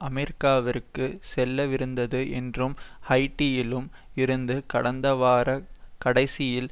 அமெரிக்காவிற்கு செல்லவிருந்தது என்றும் ஹைய்டியில் இருந்து கடந்த வார கடைசியில்